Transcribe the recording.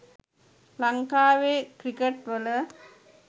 ලංකාවෙ ක්‍රිකට්වල